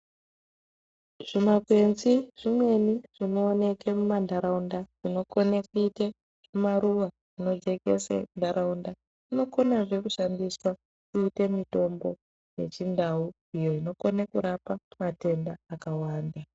Zvimakwenzi zvimweni zvinooneke mumantaraunda, zvinokone kuite zvimaruwa nekujekese ntaraunda, zvinokonazve kushandiswa kuite mitombo yechindau ,iyo inokone kurapa matenda akawanda.